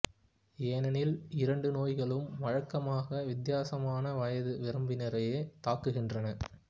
ஏனெனில் இரண்டு நோய்களும் வழக்கமாக வித்தியாசமான வயது வரம்பினரையே தாக்குகின்றன